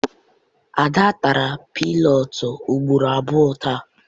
Ada tara piinọọtụ ugboro abụọ taa.